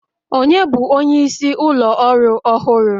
Ònye bụ onyeisi ụlọ ọrụ ọhụrụ?